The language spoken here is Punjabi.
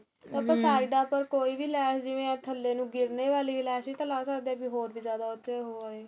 side ਉੱਪਰ ਕੋਈ ਵੀ ਲੈਸ਼ ਜਿਵੇਂ ਆਂ ਥੱਲੇ ਨੂੰ ਗਿੱਰਨੇ ਵਾਲੀ ਲੈਸ਼ ਵੀ ਤਾ ਲਾ ਸਕਦੇ ਏ ਹੋਰ ਵੀ ਜਿਆਦਾ ਉਥੇ ਉਹ ਹੋਏ